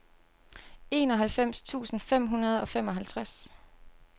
enoghalvfems tusind fem hundrede og femoghalvtreds